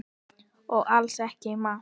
Og alls ekki í mars.